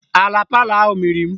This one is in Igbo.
Ala palọ ahụ mịrị m